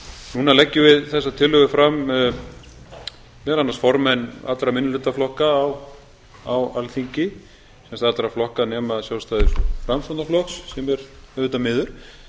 núna leggjum við þessa tillögu fram meðal annars formenn allra minnihlutaflokka á alþingi sem sagt allra flokka nema sjálfstæðis og framsóknarflokks sem er auðvitað miður